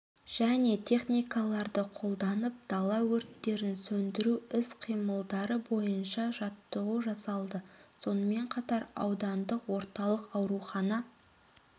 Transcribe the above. және техникаларды қолданып дала өрттерін сөндіру іс-қимылдары бойынша жаттығу жасалды сонымен қатар аудандық орталық аурухана